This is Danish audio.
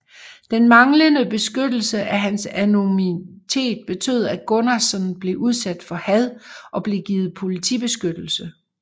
Den manglende beskyttelse af hans anonymitet betød at Gunnarsson blev udsat for had og blev givet politibeskyttelse